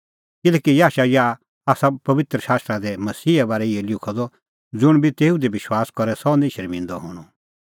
किल्हैकि याशायाह आसा पबित्र शास्त्रा दी मसीहे बारै इहअ लिखअ द ज़ुंण बी तेऊ दी विश्वास करे सह निं शर्मिंदअ हणअ